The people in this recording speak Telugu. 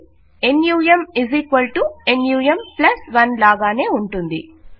అది నమ్ num 1 లాగానే ఉంటుంది